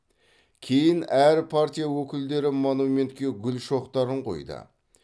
кейін әр партия өкілдері монументке гүл шоқтарын қойды